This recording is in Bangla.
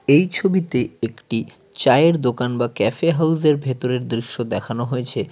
এই ছবিতে একটি চায়ের দোকান বা ক্যাফে হাউজের ভেতরের দৃশ্য দেখানো হয়েছে।